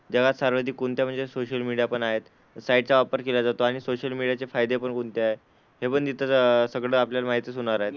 जगात सर्वाधिक कोणत्या म्हणजे सोशल मीडिया पण आहेत? साइटचा वापर केला जातो आणि सोशल मीडियाचे फायदे पण कोणते आहेत? हे पण इतर सगळं आपल्याला माहितीच होणार आहे.